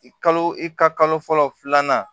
Kalo i ka kalo fɔlɔ filanan